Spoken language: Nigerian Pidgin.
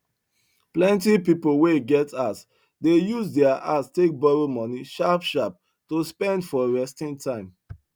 plenti pipu wen get house de use deir house take borrow moni sharp sharp to spend for restin time